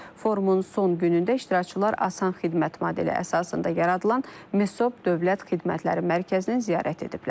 Forumun son günündə iştirakçılar asan xidmət modeli əsasında yaradılan MESOB Dövlət Xidmətləri Mərkəzini ziyarət ediblər.